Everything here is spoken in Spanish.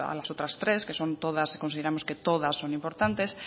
las otras tres que son todas consideramos que todas son importantes